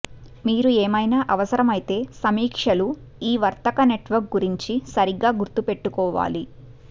మీరు ఏమైనా అవసరమైతే సమీక్షలు ఈ వర్తక నెట్వర్క్ గురించి సరిగ్గా గుర్తు పెట్టుకోవాలి